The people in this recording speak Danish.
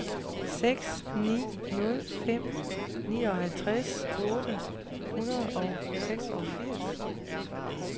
seks ni nul fem nioghalvtreds otte hundrede og seksogfirs